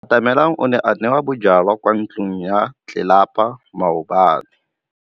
Atamelang o ne a nwa bojwala kwa ntlong ya tlelapa maobane.